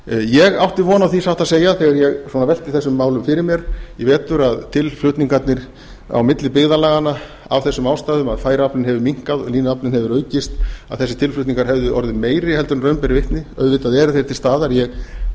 ég átti von á því satt að segja þegar ég svona velti þessum málum fyrir mér í vetur að tilflutningarnir á milli byggðarlaganna af þessum ástæðum að færaaflinn hefur minnkað og línuaflinn hefur aukist að þessir tilflutningar hefðu orðið meiri en raun ber vitni auðvitað eru þeir til staðar ég